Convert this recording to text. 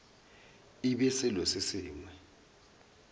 e be selo se sengwe